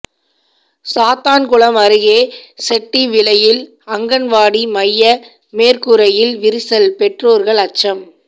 சாத்தான்குளம் அருகே செட்டிவிளையில் அங்கன்வாடி மைய மேற்கூரையில் விரிசல் பெற்றோர்கள் அச்சம்